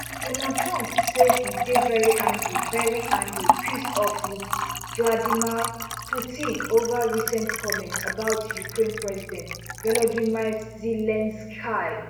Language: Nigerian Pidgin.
donald trump say e dey very angry very angry pissed off with vladimir putin over recent comments about ukraine president volodymyr zelensky